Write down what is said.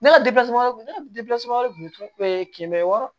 Ne ka wɛrɛ wɛrɛ tun bɛ kɛmɛ wɔɔrɔ